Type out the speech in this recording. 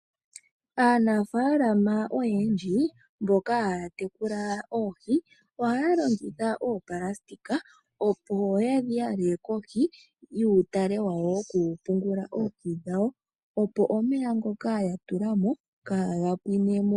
Aanafaalama oyendji mboka haya tekula oohi ohaya longitha oonayilona opo yedhi yale kohi yuutale wawo wokupungula oohi dhawo opo omeya ngoka yatulamo kaaga pwinemo .